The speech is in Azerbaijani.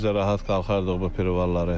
Biz də rahat qalxardıq bu privaları.